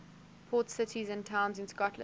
port cities and towns in scotland